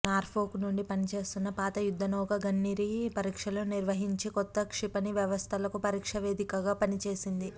Norfolk నుండి పనిచేస్తున్న పాత యుద్ధనౌక గన్నిరీ పరీక్షలను నిర్వహించి కొత్త క్షిపణి వ్యవస్థలకు పరీక్షా వేదికగా పనిచేసింది